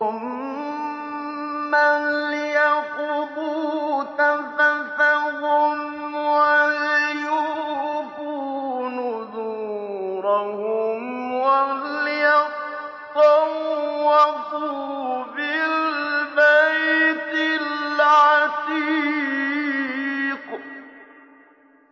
ثُمَّ لْيَقْضُوا تَفَثَهُمْ وَلْيُوفُوا نُذُورَهُمْ وَلْيَطَّوَّفُوا بِالْبَيْتِ الْعَتِيقِ